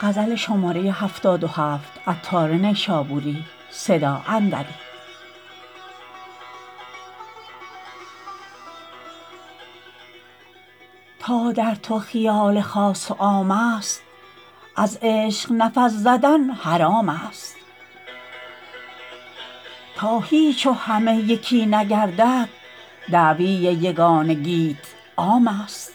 تا در تو خیال خاص و عام است از عشق نفس زدن حرام است تا هیچ و همه یکی نگردد دعوی یگانگیت عام است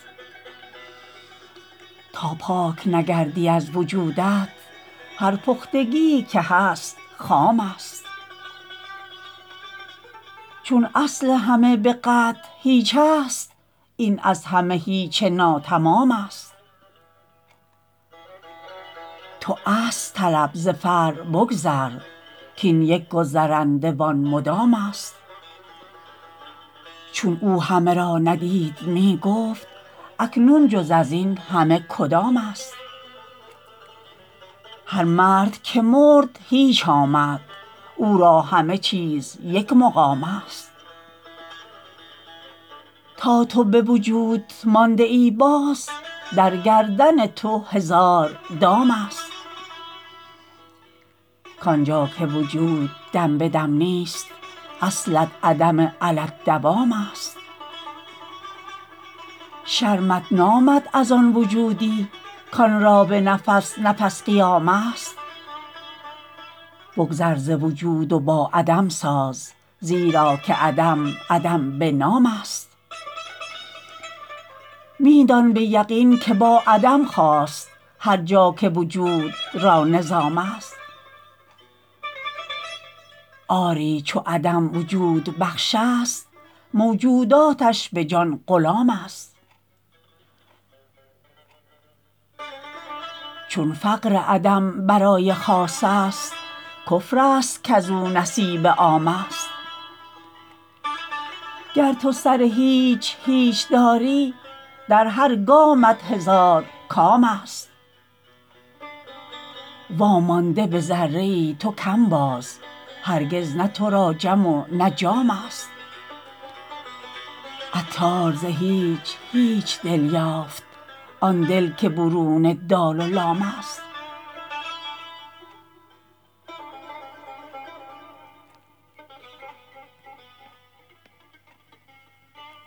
تا پاک نگردی از وجودت هر پختگیی که هست خام است چون اصل همه به قطع هیچ است این از همه هیچ ناتمام است تو اصل طلب ز فرع بگذر کین یک گذرنده و آن مدام است چون او همه را ندید می گفت اکنون جز ازین همه کدام است هر مرد که مرد هیچ آمد او را همه چیز یک مقام است تا تو به وجود مانده ای باز در گردن تو هزار دام است کانجا که وجود دم به دم نیست اصلت عدم علی الدوام است شرمت نامد از آن وجودی کان را به نفس نفس قیام است بگذر ز وجود و با عدم ساز زیرا که عدم عدم به نام است می دان به یقین که با عدم خاست هرجا که وجود را نظام است آری چو عدم وجود بخش است موجوداتش به جان غلام است چون فقر عدم برای خاص است کفر است کزو نصیب عام است گر تو سر هیچ هیچ داری در هر گامت هزار کام است وامانده به ذره ای تو کم باز هرگز نه تو را جم و نه جام است عطار ز هیچ هیچ دل یافت آن دل که برون دال و لام است